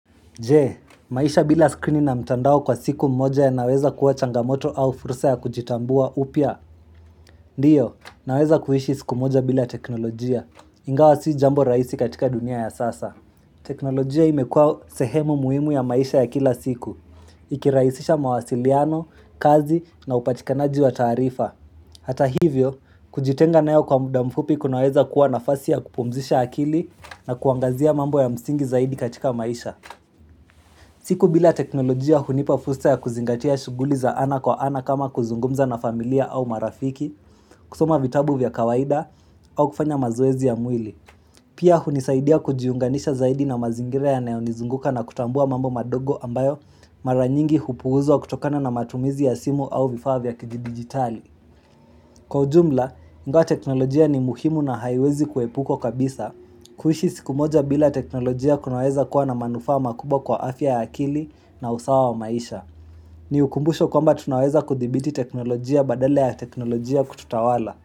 Jee, maisha bila skrini na mtandao kwa siku mmoja ya naweza kuwa changamoto au fursa ya kujitambua upya? Ndiyo, naweza kuishi siku mmoja bila teknolojia. Ingawa si jambo raisi katika dunia ya sasa. Teknolojia imekua sehemu muhimu ya maisha ya kila siku. Ikiraisisha mawasiliano, kazi na upatikanaji wa tarifa. Hata hivyo, kujitenga naeo kwa muda mfupi kunaweza kuwa nafasi ya kupumzisha akili na kuangazia mambo ya msingi zaidi katika maisha. Siku bila teknolojia hunipafursa ya kuzingatia shuguli za ana kwa ana kama kuzungumza na familia au marafiki, kusoma vitabu vya kawaida au kufanya mazoezi ya mwili. Pia hunisaidia kujiunganisha zaidi na mazingira ya neonizunguka na kutambua mambo madogo ambayo maranyingi hupuuzwa kutokana na matumizi ya simu au vifavya kiji digitali. Kwa jumla, ingawa teknolojia ni muhimu na haiwezi kuepukwa kabisa, kuishi siku moja bila teknolojia kunaweza kuwa na manufama kubwa kwa afya ya akili na usawa wa maisha. Ni ukumbusho kwamba tunaweza kuthibiti teknolojia badala ya teknolojia kututawala.